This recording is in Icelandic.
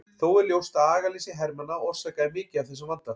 Þó er ljóst að agaleysi hermanna orsakaði mikið af þessum vanda.